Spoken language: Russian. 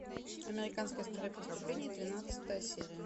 американская история преступлений двенадцатая серия